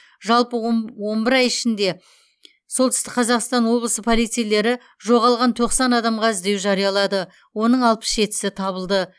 жалпы омб он бір ай ішінде солтүстік қазақстан облысы полицейлері жоғалған тоқсан адамға іздеу жариялады оның алпыс жетісі табылды